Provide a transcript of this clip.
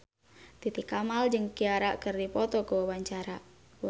Titi Kamal jeung Ciara keur dipoto ku wartawan